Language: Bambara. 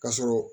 Ka sɔrɔ